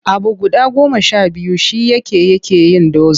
Abu guda goma sha biyu shi yake yake yin dozin.